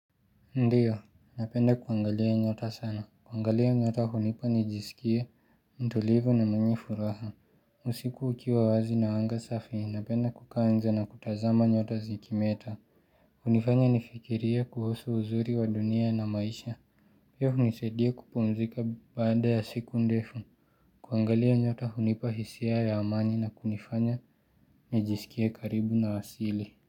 Ndiyo, napenda kuangalia nyota sana. Kuangalia nyota hunipa nijiskie mtulivu na mwenye furaha. Usiku ukiwa wazi na anga safi. Napenda kukaa na kutazama nyota zikimeta. Hunifanya nifikirie kuhusu uzuri wa dunia na maisha. Pia hunisedia kupumzika baada ya siku ndefu. Kuangalia nyota hunipa hisia ya amani na kunifanya nijisikie karibu na wasili.